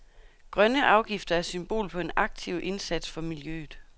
Grønne afgifter er symbol på en aktiv indsats for miljøet.